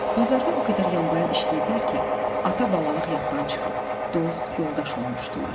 Bazarda o qədər yanbayan işləyiblər ki, ata-balalıq yaddan çıxıb, dost, yoldaş olmuşdular.